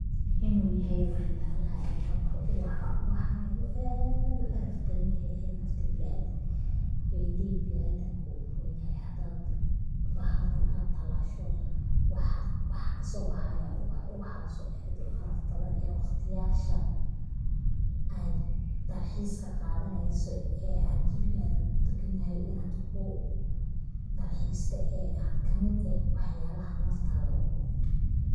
Inu yahay wax yalaha kaboxo ubaxa, ubaxa inu aad u caraf badan yahay ee nafta bini adanka iyo indhihi bini adanka u uron yahay, hadad bahalkan ad talasho waxaa kaso baxaya ubax, ubaxaas oo ad u caraf badan ee waqtiyasha ad dalxiiska qadaneyso ee ad jebigaga kudegan yahay inad kudalxiista ee kamid eh wax yalaha naftada uron